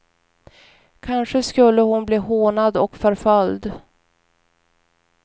Kanske skulle hon bli hånad och förföljd.